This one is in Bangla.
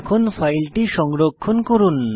এখন ফাইলটি সংরক্ষণ করুন